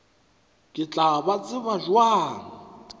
ke tla ba tseba bjang